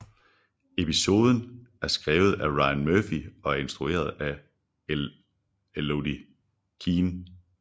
Episoden er skrvet af Ryan Murphy og er instrueret af Elodie Keene